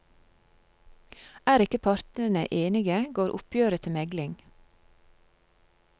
Er ikke partene enige, går oppgjøret til megling.